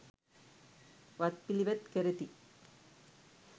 වත් පිළිවෙත් කරති.